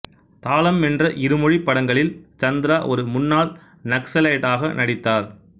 தாளம் என்ற இருமொழிப் படங்களில் சந்திரா ஒரு முன்னாள் நக்சலைட்டாக நடித்தார்